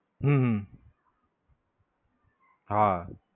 હમ હા.